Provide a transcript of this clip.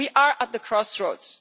We are at the crossroads.